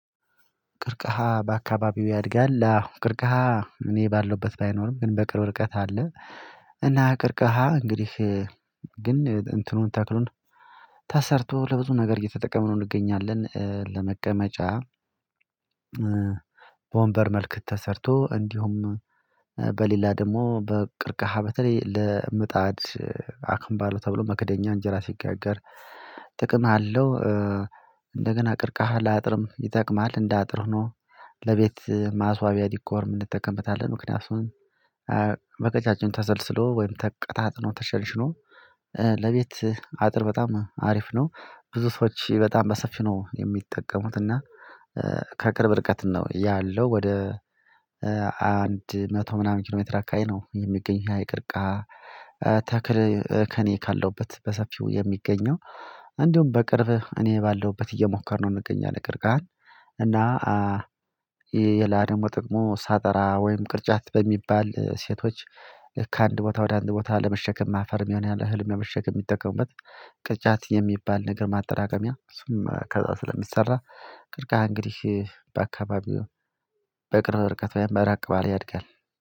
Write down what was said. ቀርቅሃ በአካባቢው ያድጋል አዎ ቅርቀሃ እኔ ባለሁበት ባይኖርም ግን በቅርብ ርቀት አለ። እና ቀርቀሃ እንግዲህ ግን እንትኑን ተክሉን ተሰርቶ ለብዙ ነገር እየተጠቀምነው እንገኛለን ለመቀመጫ። በወንበር መልክተሰርቶ እንዲሁም በሌላ ደግሞ በቅርቀሃ በተለይ ለምጣድ አክምባሎ ተብሎ መክደኛ እንጀራ ሲጋገር ጥቅም አለው። እንደገና ቅርቀሃ ለአጥርም ይጠቅማል እንደ አጥር ሆኖ ለቤት ማስዋቢያ ዲኮርም እንጠቀምታለን ምክንያቱም በቀጫጭን ተሰልስሎ ወይም ተቀጣጥኖ ተሸንሽኖ ለቤት አጥር በጣም አሪፍ ነው። ብዙ ሰዎች በጣም በሰፊው ነው የሚጠቀሙት እና ከቅርብ ርቀት ነው ያለው ወደ አንድ መቶ ምናምን ኪሎሜትር አካባቢ ነው የሚገኝ ያ የቅርቀሃ ተክል ከእኔ ካለሁበት በሰፊው የሚገኘው። እንዲሁም በቅርብ እኔ ባለሁበት እየሞከርነው እንገኛለን ቀርከሃን። እና ሌላ ደግሞ ጥቅሙ ሳጠራ ወይም ቅርጫት በሚባል ሴቶች ከአንድ ቦታ ወደ አንድ ቦታ ለመሸከም አፈርም ይሆናል እህልም ለመሸከም የሚጠቀሙበት። ቅርጫት የሚባል ነገር ማጠራቀሚያ እሱም ከዛ ስለሚሰራ ቅርከሃ እንግዲህ በአካባቢው በቅርብ ርቀት ወይም በራቅ ባለ ያድጋል።